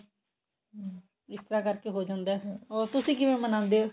ਹਮ ਇਸ ਤਰ੍ਹਾਂ ਕਰਕੇ ਹੋ ਜਾਂਦਾ ਹਮ ਹੋਰ ਤੁਸੀਂ ਕਿਵੇਂ ਮਨਾਉਂਦੇ ਓ